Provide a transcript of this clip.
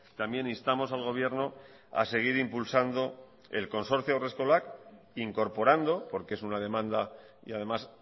también instamos al gobierno a seguir impulsando el concorcio haurreskolak incorporando porque es una demanda y además